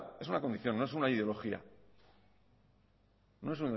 es una condición no es una ideología